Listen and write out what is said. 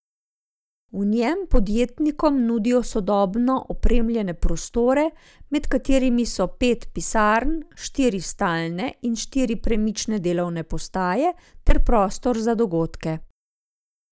V njej podjetnikom nudijo sodobno opremljene prostore, med katerimi so pet pisarn, štiri stalne in štiri premične delovne postaje ter prostor za dogodke.